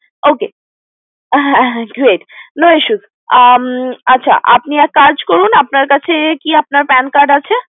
Ok হ্যা হ্যা great no issues আচ্ছা আপনি এক কাজ করুন আপনার কাছে কি আপনার PAN Card আছে